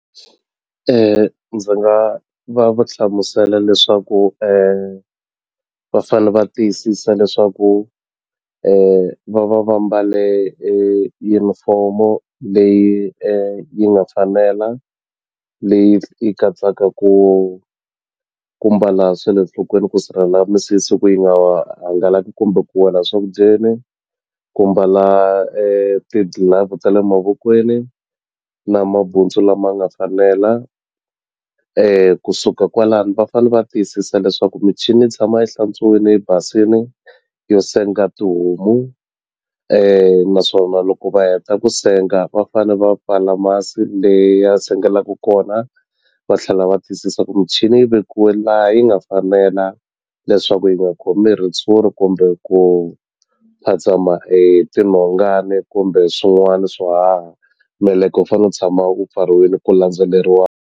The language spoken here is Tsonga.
Ndzi nga va va hlamusela leswaku va fane va tiyisisa leswaku va va va mbale yunifomo leyi yi nga fanela leyi yi katsaka ku ku mbala swa le nhlokweni ku sirhela misisi ku yi nga hangalaki kumbe ku wela swakudyeni ku mbala ti-glove ta le mavokweni na mabuntsu lama nga fanela kusuka kwalano va fane va tiyisisa leswaku michini yi tshama yi hlantswiwile yi basini yo senga tihomu naswona loko va heta ku senga va fane va pfala masi le ya sengelaku kona va tlhela va tiyisisa ku michini yi vekiwe laha yi nga fanela leswaku yi nga khomi ritshuri kumbe ku phatsama hi tinhongani kumbe swin'wani swo haha meleke wu fane wu tshama wu pfariwini ku landzeleriwa.